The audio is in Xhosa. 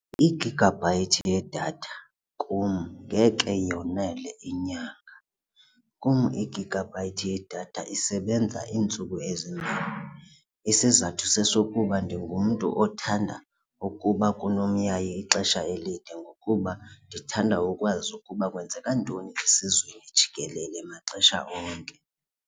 Igigabhayithi yedatha kum ngeke yonele inyanga. Kum igigabhayithi yedatha isebenza iintsuku ezimbini, isizathu sesokuba ndingumntu othanda ukuba kunomyayi ixesha elide ngokuba ndithanda ukwazi ukuba kwenzeka ntoni esizweni jikelele maxesha onke.